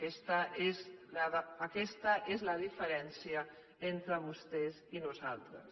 aquesta és la diferència entre vostès i nosaltres